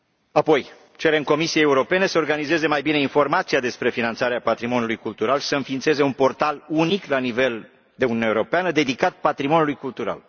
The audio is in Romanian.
Apoi, cerem Comisiei Europene să organizeze mai bine informația despre finanțarea patrimoniului cultural, să înființeze un portal unic la nivelul Uniunii Europene, dedicat patrimoniului cultural.